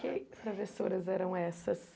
Que travessuras eram essas?